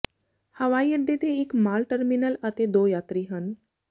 ਹਵਾਈ ਅੱਡੇ ਦੇ ਇਕ ਮਾਲ ਟਰਮੀਨਲ ਅਤੇ ਦੋ ਯਾਤਰੀ ਹਨ